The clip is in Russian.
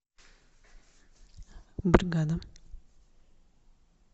бригада